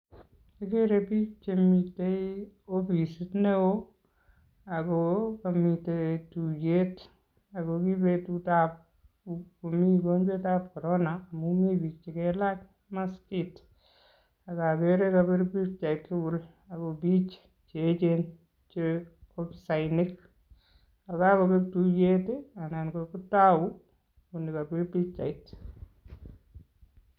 Okeree biik chemiten ofisit neoo akoo komiten tuyet ako kibetutab komii ugonjwetab korona amun mii biik chekailach maskit, akokeree kobir pichait tukul akobiik cheechen chee ofisainik, yekakobek tuyet anan kokitou olekobir pichait.